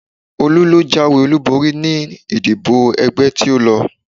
Olú ló jáwé olúborí ní ìdìbò ẹgbẹ́ tí ó lọ